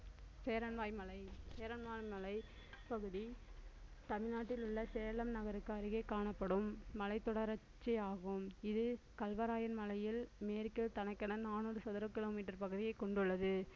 சேரன்வாய் மலை சேரன்வாய் மலைப் பகுதி தமிழ்நாட்டில் உள்ள சேலம் நகருக்கு அருகே காணப்படும் மலைத்தொடர்ச்சியாகும் இது கல்வராயன் மலையில் மேற்கில் தனக்கென நானூறு சதுர kilometer பகுதியை கொண்டுள்ளது